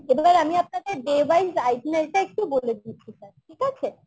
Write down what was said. এবার আমি আপনাদের day wise টা একটু বলে দিচ্ছি sir ঠিক আছে?